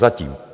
Zatím.